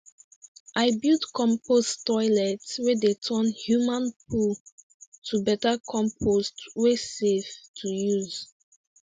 i build compost toilet wey dey turn human poo to better compost wey safe to use